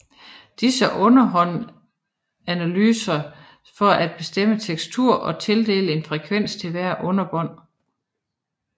Disse underbånd analyseres for at bestemme teksturer og tildele en frekvens til hvert underbånd